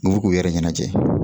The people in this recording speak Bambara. N'u b'u k'u yɛrɛ ɲɛnajɛ